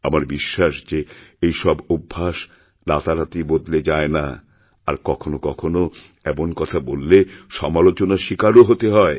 আমারবিশ্বাস যে এইসব অভ্যাস রাতারাতি বদলে যায় না আর কখনও কখনও এমন কথা বললে সমালোচনারশিকারও হতে হয়